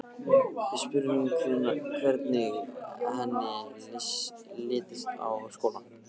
Við spurðum hvernig henni litist á skólann.